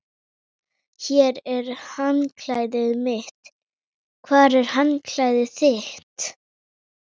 Hér er handklæðið mitt. Hvar er handklæðið þitt?